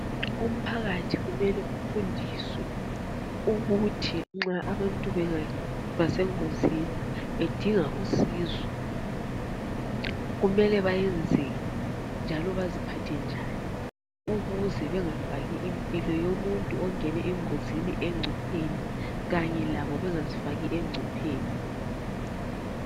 Umphakathi kumele ufundiswe ukuthi nxa abantu bengaba sengozini bedinga usizo kumele bayenze njalo baziphathe njani ukuze bengafaki impilo yomuntui ongene engozini engcopheni kanye labo bengazifaki engcopheni.